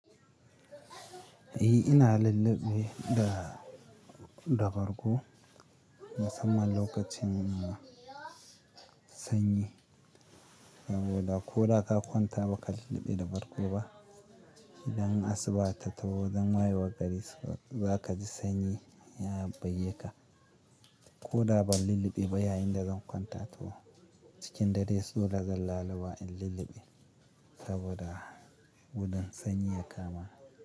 E, ina lulluɓe da, da bargo musamman lokacin sanyi, saboda ko da ka kwanta ba ka lulluɓe da bargo ba. Idan asuba ta taho zan haihuwa gari za kaji sanyi ya buge ka. Ko da ban lulluɓe ba yayinda zan kwanta to cikin dare so da zan laluba in lulluɓe saboda gudun sanyi ya kama ni.